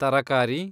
ತರಕಾರಿ